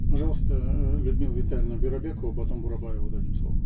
пожалуйста э людмила витальевна бюрабекова потом бурабаеву дадим слово